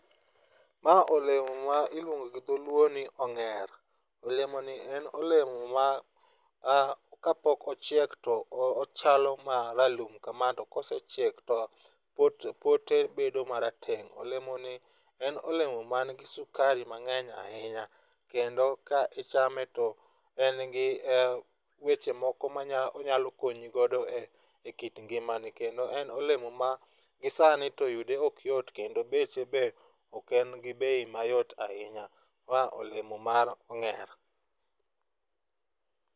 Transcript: Ma olemo ma iluongo gi dho luo ni ong'er. Olemoni en olemo ma kapok ochiek to ochalo ma ralum kama to kosechiek to pote bedo marateng'. Olemoni en olemo manigi sukari mang'eny ahinya. Kendo ka ichame to en gi weche moko monyalo konyi godo e kit ngimani, kendo en olemo ma gisani to yude ok yot kendo beche be ok en gi bei mayot ahinya. Ma olemo mar ong'er.